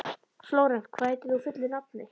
Flórent, hvað heitir þú fullu nafni?